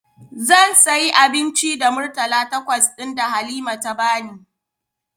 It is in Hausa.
Zan sayi abinci da Murtala takwas ɗin da Halima ta bani.